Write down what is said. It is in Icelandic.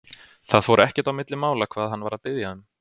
Það fór ekkert á milli mála hvað hann var að biðja um.